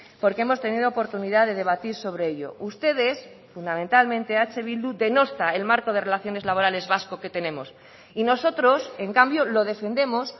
porque hemos tenido oportunidad de debatir sobre ello ustedes fundamentalmente eh bildu denosta el marco de relaciones laborales vasco que tenemos y nosotros en cambio lo defendemos